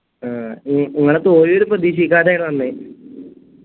ആ നിങ്ങളെ തോൽവി ഒരു പ്രതീക്ഷിക്കാത്യയാണ് വന്നേ